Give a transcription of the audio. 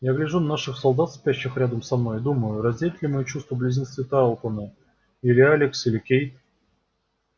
я гляжу на наших солдат спящих рядом со мной и думаю разделят ли мои чувства близнецы тарлтоны или алекс или кейт